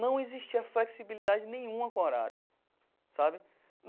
Não existia flexibilidade nenhuma com o horário, sabe?